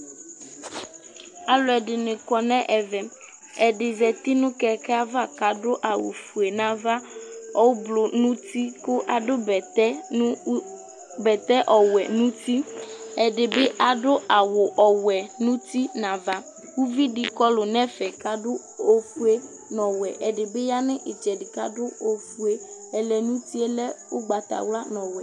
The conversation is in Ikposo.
Aluɛdini kɔ nu ɛvɛ ɛdi zati nu kɛkɛ ava kadu awu ofue nava ublu nu uti adu bɛtɛ ɔwɛ nu uti ɛdibi adu ɔwɛ nu uti nu ava uvidi kɔlu nɛfɛ kadu awu ofue nu ɔwɛ ɔlɔdi bi ya nu itsɛdi kadu ɛku ofue ɛlɛ nu utie lɛ ugbatawla nu ɔwɛ